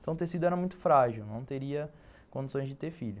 Então o tecido era muito frágil, não teria condições de ter filho.